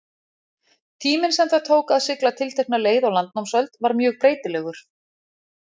Tíminn sem það tók að sigla tiltekna leið á landnámsöld var mjög breytilegur.